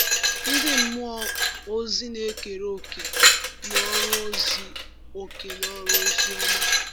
Ndị mmụọ ozi na-ekere òkè n’ọrụ ozi òkè n’ọrụ ozi ọma a.